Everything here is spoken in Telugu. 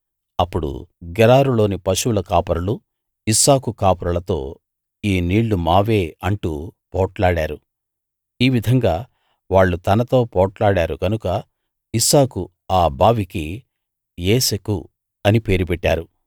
అప్పుడు గెరారులోని పశువుల కాపరులు ఇస్సాకు కాపరులతో ఈ నీళ్ళు మావే అంటూ పోట్లాడారు ఈ విధంగా వాళ్ళు తనతో పోట్లాడారు కనుక ఇస్సాకు ఆ బావికి ఏశెకు అని పేరు పెట్టాడు